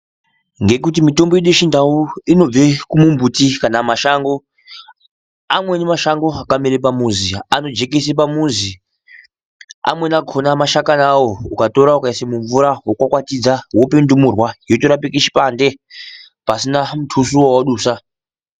Ngekuti mitombo yedu yechindau, inobve kumumuti kana mashango ,amweni mashango akamere pamuzi anojekese pamuzi, amweni akona mashakani awo ukatora ukaise mumvura wokwakwatidza, wope ndumurwa yotorapike chipande pasina mutuso wawadusa.